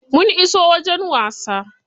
Mun iso wajen wasa.